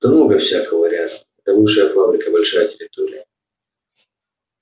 там много всякого рядом это бывшая фабрика большая территория